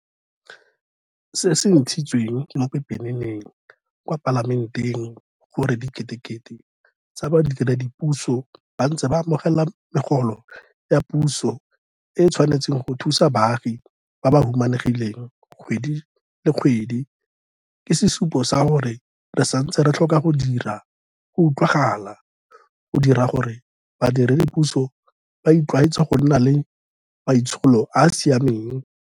Se se ntshitsweng mo pepeneneng kwa Palamenteng gore diketekete tsa badiredipuso ba ntse ba amogela megolo ya puso e e tshwanetseng go thusa baagi ba ba humanegileng kgwedi le kgwedi ke sesupo sa gore re santse re tlhoka go dira go utlwagala go dira gore badiredipuso ba itlwaetse go nna le maitsholo a a siameng.